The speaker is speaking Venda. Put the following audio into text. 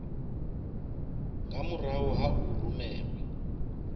nga murahu ha u rumelwa